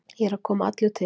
Ég er að koma allur til.